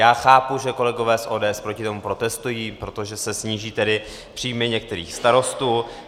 Já chápu, že kolegové z ODS proti tomu protestují, protože se sníží tedy příjmy některých starostů.